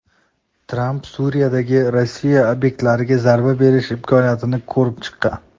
Tramp Suriyadagi Rossiya obyektlariga zarba berish imkoniyatini ko‘rib chiqqan.